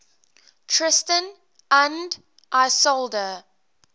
tristan und isolde